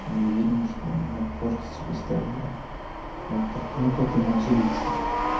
и видно что он ну портить себе здоровье вот так ну как я мог злиться